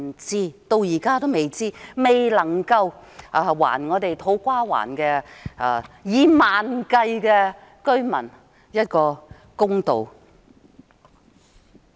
至今也不知道，未能還土瓜灣數以萬計的居民一個公道。